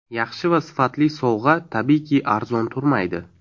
Yaxshi va sifatli sovg‘a tabiiyki arzon turmaydi.